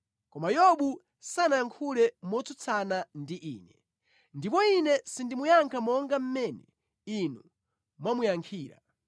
Koma Yobu sanayankhule motsutsana ndi ine, ndipo ine sindimuyankha monga mmene inu mwamuyankhira.